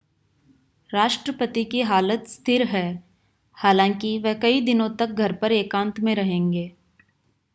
राष्ट्रपति की हालत स्थिर है हालांकि वह कई दिनों तक घर पर एकांत में रहेंगे